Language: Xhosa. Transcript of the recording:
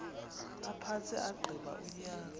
aphantse agqiba unyaka